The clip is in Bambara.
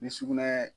Ni sugunɛ